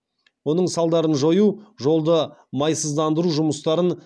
оның салдарын жою жолды майсыздандыру жұмыстарын